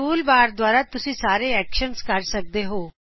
tool bar ਦਵਾਰਾ ਤੁਸੀ ਸਾਰੇ ਐਕਸ਼ਨ ਕਰ ਸਕਦੇ ਹੋ